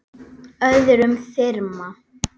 öðrum þyrma.